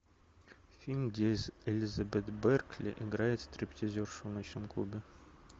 фильм где элизабет беркли играет стриптизершу в ночном клубе